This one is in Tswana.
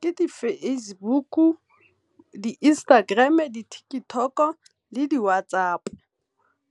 Ke di-Facebook, di-Instagram, di-TikTok, le di-WhatsApp